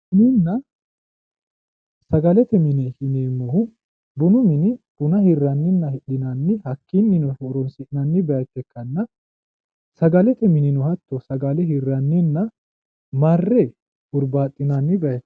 bununna sagale mine yineemmohu bunu mini buna hirrannihna hidhinanni hakkiinnino horonsi'nanni bayiicho ikkanna sagalete minino hatto sagale hirranninna marre hurbaaxinanni bayiichooti.